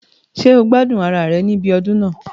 Ṣé o gbádùn ara rẹ̀ ní ibi ọdún náà